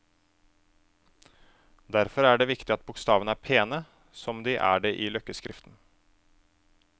Derfor er det viktig at bokstavene er pene, som de er det i løkkeskriften.